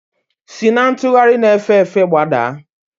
Si na ntugharị na-efe efe gbadaa!